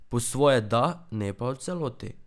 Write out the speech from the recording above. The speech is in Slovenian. Po svoje da, ne pa v celoti.